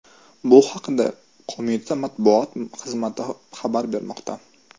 Bu haqda qo‘mita matbuot xizmati xabar bermoqda .